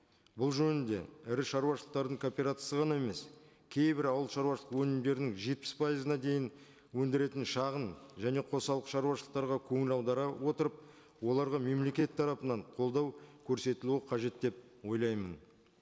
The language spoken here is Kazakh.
бұл жөнінде ірі шаруашылықтардың кооперациясы ғана емес кейбір ауыл шаруашылық өнімдерінің жетпіс пайызына дейін өндіретін шағын және қосалқы шаруашылықтарға көңіл аудара отырып оларға мемлекет тарапынан қолдау көрсетілуі қажет деп ойлаймын